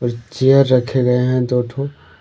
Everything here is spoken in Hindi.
चेयर रखे गए हैं दो ठो।